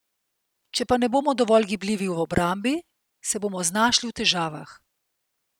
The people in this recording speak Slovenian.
Če pa ne bomo dovolj gibljivi v obrambi, se bomo znašli v težavah.